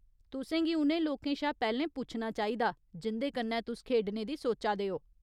तुसें गी उ'नें लोकें शा पैह्‌लें पुच्छना चाहिदा जिं'दे कन्नै तुस खेढने दी सोचा दे ओ।